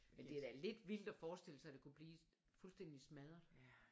Men det er da lidt vildt at forestille sig at det kunne blive fuldstændig smadret